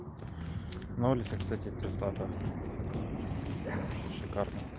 на улице кстати пиздато шикарно